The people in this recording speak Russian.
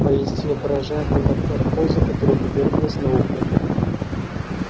поистине поражает метаморфоза которой подверглась наука